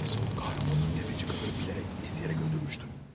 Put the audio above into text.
Oysa o kahrolası dəvəcik qadını bilərək, istəyərək öldürmüşdüm.